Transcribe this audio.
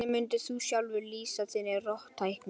Hvernig mundir þú sjálfur lýsa þinni róttækni?